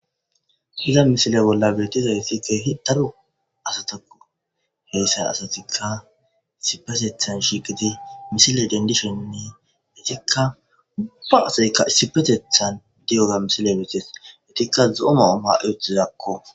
Izza misile bolla betizaysi kehi cora asatakko hesa asatika issippetetha shiqidi misile dendishe wurika ubba asayika diyoga misiley beses ubbatika zo'o Mayo mayi uttidako